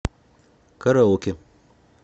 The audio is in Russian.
караоке